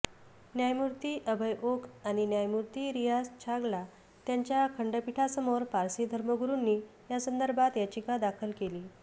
न्यायमूर्ती अभय ओक आणि न्यायमूर्ती रियाझ छागला यांच्या खंडपीठासमोर पारसी धर्मगुरुंनी यासंदर्भात याचिका दाखल केलीय